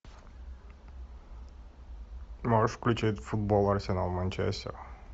можешь включить футбол арсенал манчестер